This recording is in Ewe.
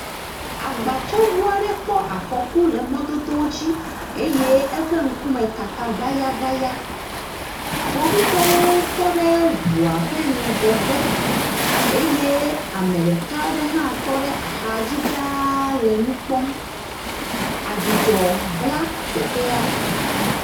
Agbatsɔŋu aɖe kpɔ afɔku le mɔdodoa dzi eye eƒe ŋku me kaka ŋayaŋaya. Kpovitɔwo tɔ ɖe ŋua ƒe ŋgɔgbe eye ame ɖeka aɖe hã tɔ ɖe axadzi ɖaa le nu kpɔm. Adzudzɔ bla teƒea.